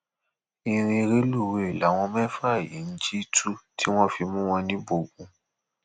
ìrìn rélùwéè làwọn mẹfà yìí ń jì tu tí wọn fi mú wọn níbógun